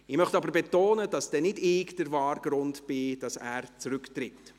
Ich möchte aber betonen, dass nicht ich der wahre Grund bin, weshalb er zurücktritt.